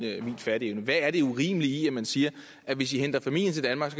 fatteevne hvad er det urimelige i at man siger hvis i henter familien til danmark